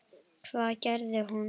Hvað gerir hún?